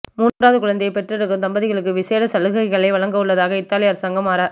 மூன்றாவது குழந்தையைப் பெற்றெடுக்கும் தம்பதிகளுக்கு விஷேட சலுகைகளை வழங்கவுள்ளதாக இத்தாலி அரசாங்கம் அற